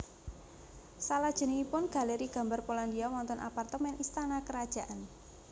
Selajengipun Galeri Gambar Polandia wonten apartemen istana karajaan